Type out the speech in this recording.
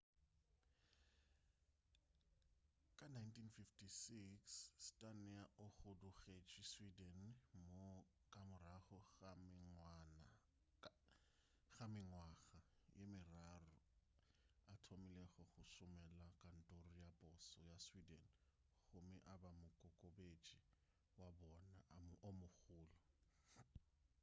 ka 1956 słania o hudugetše sweden moo ka morago ga mengwaga ye meraro a thomilego go šomela kantoro ya poso ya sweden gomme a ba mokokobetše wa bona o mogolo